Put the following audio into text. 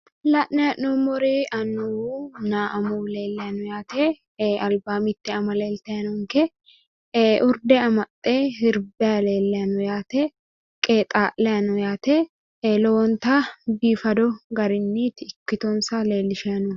La'nayi he'nommori annwunna amuwu leellayi no yaate albaa mitte ama leeltayi noonke urde amaxxe sirbayi leellayi no yaate qexa'layi no yaate lowonta biifadu garinniiti ikkitonsa leellishayi noohu